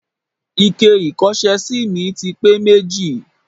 Ike ìkọ́ṣẹ́sí mi ti pé méjì.